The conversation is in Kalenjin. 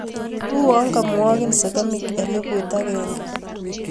Uyoo kamwagin sagamik elepuut agenge